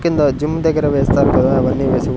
కింద జిమ్ దగ్గర వేస్తారు కదా అవన్నీ వేసి--